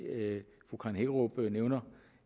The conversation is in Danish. fru karen hækkerup nævner